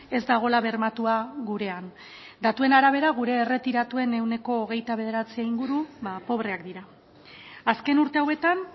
ez dagoela bermatua gurean datuen arabera gure erretiratuen ehuneko hogeita bederatzi inguru pobreak dira azken urte hauetan